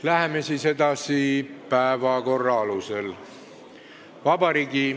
Läheme edasi päevakorra alusel.